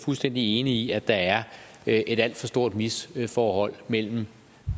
fuldstændig enige i at der er et alt for stort misforhold mellem